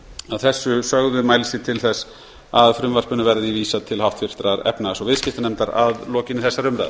að þessu sögðu mælist ég til þess að frumvarpinu verði vísað til háttvirtrar efnahags og viðskiptanefndar að lokinni þessari umræðu